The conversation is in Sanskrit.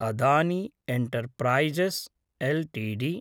Adani enterprises LTD